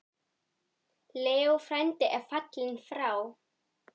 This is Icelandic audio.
Leó frændi er fallinn frá.